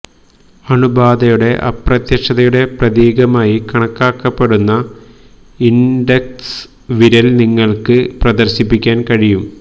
അണുബാധയുടെ അപ്രത്യക്ഷതയുടെ പ്രതീകമായി കണക്കാക്കപ്പെടുന്ന ഇൻഡെക്സ് വിരൽ നിങ്ങൾക്ക് പ്രദർശിപ്പിക്കാൻ കഴിയും